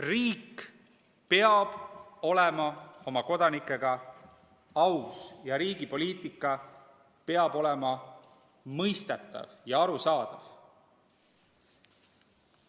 Riik peab olema oma kodanikega aus ning riigi poliitika peab olema mõistetav ja arusaadav.